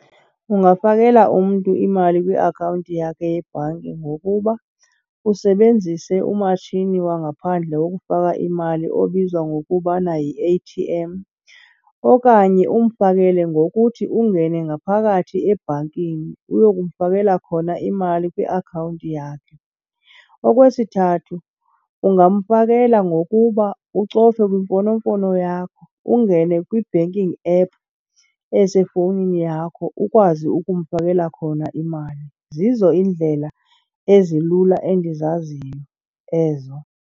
Ungafakela umntu imali kwiakhawunti yakhe yebhanki ngokuba usebenzise umatshini wangaphandle wokufaka imali obizwa ngokubana yi-A_T_M. Okanye umfakele ngokuthi ungene ngaphakathi ebhankini uyokumfakela khona imali kwiakhawunti yakhe. Okwesithathu, ungamfakela ngokuba ucofe kwimfonomfono yakho, ungene kwi-banking app esefowunini yakho ukwazi ukumfakela khona imali. Zizo iindlela ezilula endizaziyo ezo.